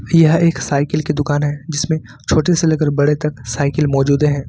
यह एक साइकिल की दुकान है जिसमें छोटे से लेकर बड़े तक साइकिल मौजूद है।